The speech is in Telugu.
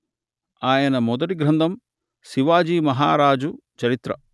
ఆయన మొదటి గ్రంధం శివాజీ మహారాజు చరిత్ర